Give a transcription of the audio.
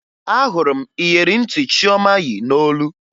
Ahụrụ m iyeri ntị Chioma yi n'olu